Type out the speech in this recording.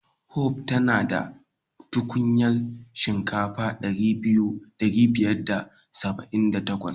Hope ta na da tukunyar shekara dari biyar da saba'in da takwas.